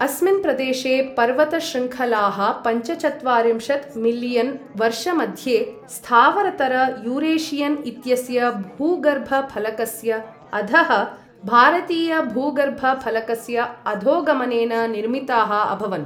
अस्मिन् प्रदेशे पर्वत शृङ्खलाः पञ्चचत्वारिंशत् मिलियन् वर्षमध्ये स्थावरतर यूरेशियन् इत्यस्य भूगर्भफलकस्य अधः भारतीय भूगर्भफलकस्य अधोगमनेन निर्मिताः अभवन्।